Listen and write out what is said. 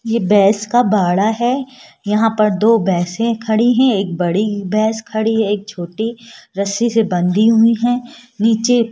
ये बैस का बाड़ा है यहां पर दो बैसे खड़ी हैं एक बड़ी भैंस खड़ी एक छोटी रस्सी से बंधी हुई है नीचे --